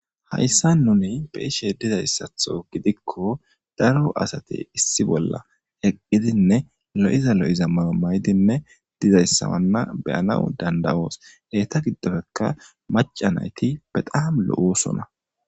hayssa nuni beyishe dizayssatho gidikko daro asate issi bolla heqqidinne lo7iza lo7iza mayo maydinne dizayssawanna beyana dandawoos heyta giddofekka macanayti bedaam lo7usona